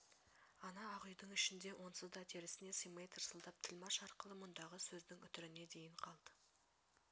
ана ақ үйдің ішінде онсыз да терісіне симай тырсылдап тілмаш арқылы мұндағы сөздің үтіріне дейін қалт